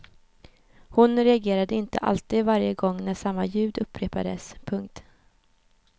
Hon reagerade inte alltid varje gång när samma ljud upprepades. punkt